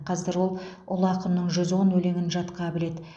қазір ол ұлы ақынның жүз он өлеңін жатқа біледі